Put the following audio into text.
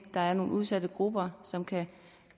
der er nogle udsatte grupper som kan